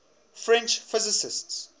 french physicists